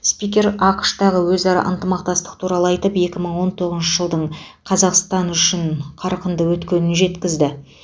спикер ақш тағы өзара ынтымақтастық туралы айтып екі мың он тоғызыншы жылдың қазақстан үшін қарқынды өткенін жеткізді